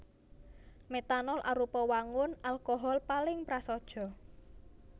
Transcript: Metanol arupa wangun alkohol paling prasaja